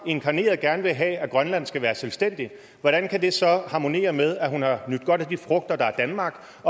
inkarneret gerne vil have at grønland skal være selvstændigt hvordan kan det så harmonere med at hun har nydt godt af de frugter der er danmark